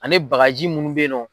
Ani bagaji munnu bɛ ye nɔ.